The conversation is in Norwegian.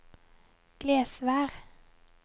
Glesvær